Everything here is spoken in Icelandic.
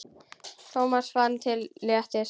Thomas fann til léttis.